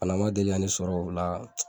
Bana ma deli ka ne sɔrɔ o la